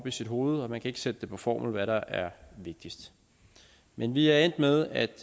i sit hoved og man kan ikke sætte på formel hvad der er vigtigst men vi er endt med at